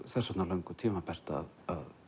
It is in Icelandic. þess vegna löngu tímabært að